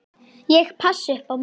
Ég passa upp á mömmu.